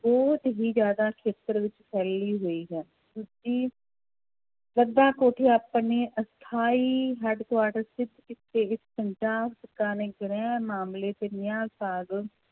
ਬਹੁਤ ਹੀ ਜ਼ਿਆਦਾ ਖੇਤਰ ਵਿੱਚ ਫੈਲੀ ਹੋਈ ਹੈ ਸੂਚੀ ਆਪਣੇ ਅਸਥਾਈ headquarter ਪੰਜਾਬ ਸਰਕਾਰ ਨੇ ਗ੍ਰਹਿ ਮਾਮਲੇ